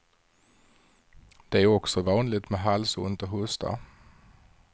Det är också vanligt med halsont och hosta.